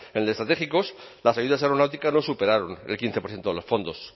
en el de estratégicos las ayudas aeronáuticas no superaron el quince por ciento de los fondos